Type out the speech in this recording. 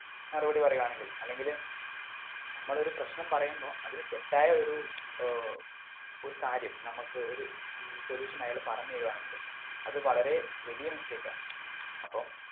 മറുപടി പറയാണെങ്കില് അല്ലെങ്കില് നമ്മളൊരു പ്രശ്നം പറയുമ്പൊ അതിന് തെറ്റായ ഒരു ഏർ ഒരു കാര്യം നമ്മക്ക് ഒരു ഏർ solution അയാള് പറഞ്ഞ് തരുവാണെങ്കില് അത് വളരേ വലിയ mistake ആ അപ്പം